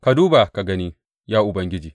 Ka duba, ka gani ya Ubangiji.